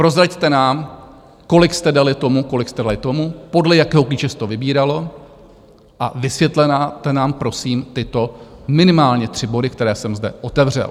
Prozraďte nám, kolik jste dali tomu, kolik jste dali tomu, podle jakého klíče se to vybíralo, a vysvětlete nám prosím tyto minimálně tři body, které jsem zde otevřel.